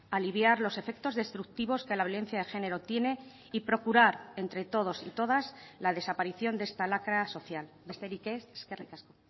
a aliviar los efectos destructivos que la violencia de género tiene y procurar entre todos y todas la desaparición de esta lacra social besterik ez eskerrik asko